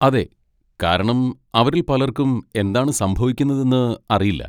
അതെ, കാരണം അവരിൽ പലർക്കും എന്താണ് സംഭവിക്കുന്നതെന്ന് അറിയില്ല.